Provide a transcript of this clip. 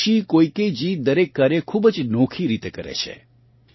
Hiroshi Koikeji દરેક કાર્ય ખૂબ જ નોખી રીતે કરે છે